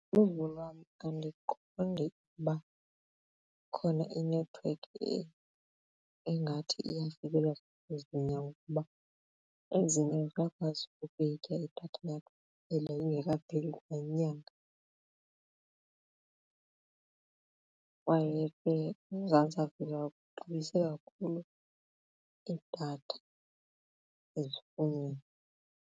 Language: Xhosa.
Uluvo lwam andiqondi uba ikhona inethiwekhi engathi iyafikelela kwezonyango ukuba ezinye ziyakwazi ukuyitya idatha yakho early ingekapheli kwa inyanga kwaye ke uMzantsi Afrika uxabise kakhulu idatha ezifundweni.